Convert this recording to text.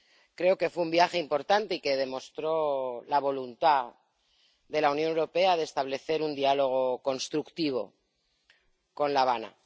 Creo que fue un viaje importante y que demostró la voluntad de la Unión Europea de establecer un diálogo constructivo con La Habana.